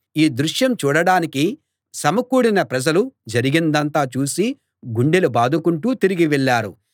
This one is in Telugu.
ఈ దృశ్యం చూడడానికి సమకూడిన ప్రజలు జరిగిందంతా చూసి గుండెలు బాదుకుంటూ తిరిగి వెళ్ళారు